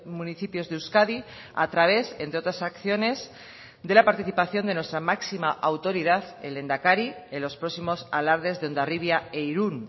municipios de euskadi a través entre otras acciones de la participación de nuestra máxima autoridad el lehendakari en los próximos alardes de hondarribia e irún